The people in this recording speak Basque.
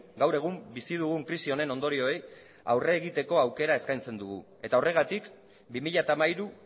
gaur egun bizi dugun krisi honen ondorioei aurre egiteko aukera eskaintzen dugu eta horregatik bi mila hamairu